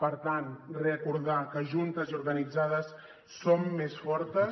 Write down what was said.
per tant recordar que juntes i organitzades som més fortes